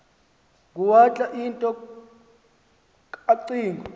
nguwalter into kacingo